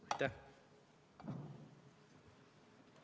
Aitäh!